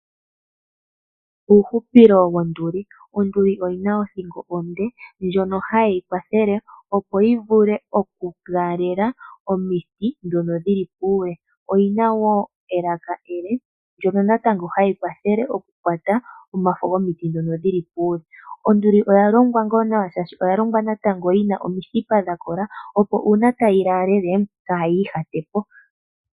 Uuhupilo wonduli. Onduli oyina othingo onde ndjono hayi yi kwathele yi vulu oku laalele omiti dhono dhili puule. Oyina woo elaka ele ndnono natango hali kwata omafo gomiti dhono dhili puule. Onduli oya longwa ngaa nawa oshoka oyina omithipa dhakola dhono hadhi yi kwathele opo uuna tayi laalele kayi ihatepo